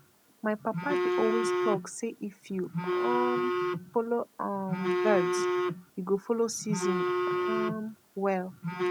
my papa dey always talk say if you um follow um birds you go follow season um well